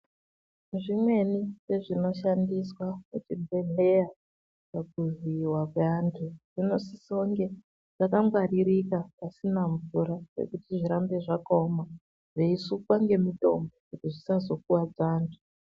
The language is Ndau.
Zvimweni zvezvinoshandiswa kuchibhedhleya pakuvhiyiwa kwaantu zvinosisenge zvakangwaririka pasina mvura pekuti zvirambe zvakaoma, zveisukwa ngemitombo kuti zvisazokuvadza antu.